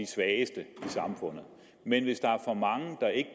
svageste i samfundet men hvis der er for mange der ikke